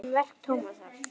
Um verk Tómasar